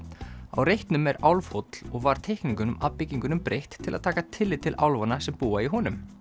á reitnum er Álfhóll og var teikningum að byggingunum breytt til að taka tillit til álfanna sem búa í honum